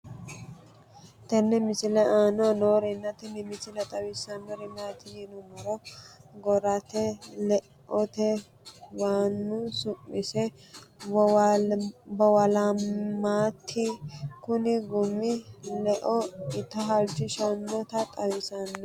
tenne misile aana noorina tini misile xawissannori maati yinummoro goratte leootti waannu su'misse boowilaammatti kunni gummi leo itta halichishshannotta xawissanno